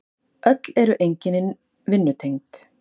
Öll eru einkennin vinnutengd.